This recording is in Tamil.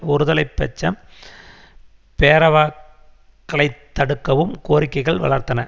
ஒருதலை பட்ச பேரவாக்களைத்தடுக்கவும் கோரிக்கைகள் வளர்ந்தன